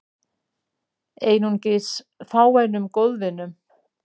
Einungis fáeinum góðvinum